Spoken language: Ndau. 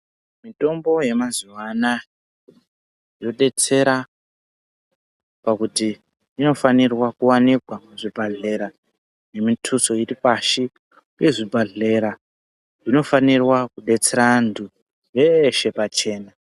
Mitombo yemazuva ano aya yodetsera pakuti inofanirwa kuwanikwa muzvibhedhlera nemituso iripashi pezvibhedhera zvinofanira kudetsera vantu veshe pachena.